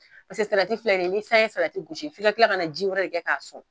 Peseke salati fila nin ye ni san ye salati gosi fi ka kila ka na ji wɛrɛ de kɛ k'a sɔn.